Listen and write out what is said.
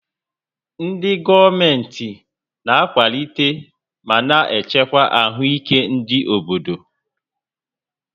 Ndị gọọmentị na-akwalite ma na-echekwa ahụike ndị obodo